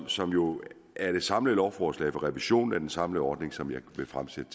som jo er det samlede lovforslag om revision af den samlede ordning som jeg vil fremsætte